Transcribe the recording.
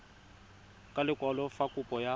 ka lekwalo fa kopo ya